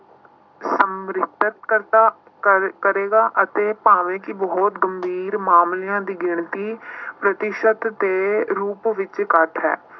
ਕਰਦਾ ਕਰ ਕਰੇਗਾ ਅਤੇ ਭਾਵੇਂ ਕਿ ਬਹੁਤ ਗੰਭੀਰ ਮਾਮਲਿਆਂ ਦੀ ਗਿਣਤੀ ਪ੍ਰਤੀਸ਼ਤ ਦੇ ਰੂਪ ਵਿੱਚ ਘੱਟ ਹੈ।